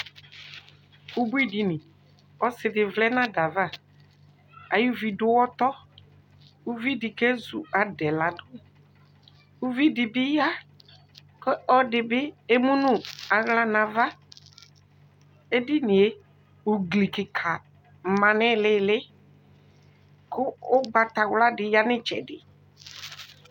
Ubuidini Ɔsɩ dɩ vlɛ nʋ ada yɛ ava Ayuvi dʋ ʋɣɔtɔ Uvi dɩ kezu ada yɛ ladʋ Uvi dɩ bɩ ya, kʋ ɔlɔdɩ bɩ emu nʋ aɣla nʋ ava Edini yɛ, ugli kɩka ma nʋ ɩɩlɩ ɩɩlɩ kʋ ʋgbatawla dɩ ya nʋ ɩtsɛdɩ